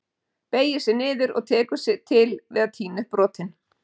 Beygir sig niður og tekur til við að tína upp brotin.